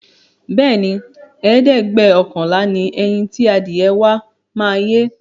Bẹẹni, ẹ̀ẹ́dẹ́gbẹ́ọ̀kànlá ni ẹyin ti adìẹ wa máa yé